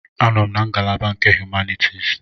Anọ m na ngalaba nke Humanities.